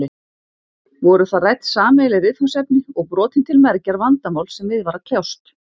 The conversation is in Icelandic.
Voru þar rædd sameiginleg viðfangsefni og brotin til mergjar vandamál sem við var að kljást.